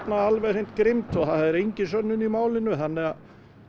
alveg grimmt og það er engin sönnun í málinu þannig að